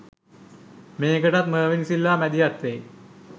මේකටත් මර්වින් සිල්වා මැදිහත් වෙයි